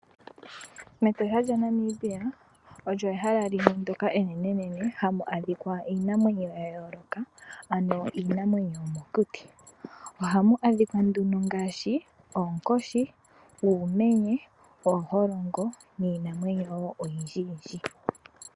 Metosha lya Namibia olyo ehala limwe ndoka enene hamu adhika iinamwenyo ya yooloka ano iinamwenyo yomokuti. Ohamu adhika nduno ngaashi oonkoshi, uumenye, ooholongo niinamwenyo woo oyindji.